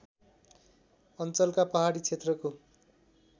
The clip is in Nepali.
अञ्चलका पहाडी क्षेत्रको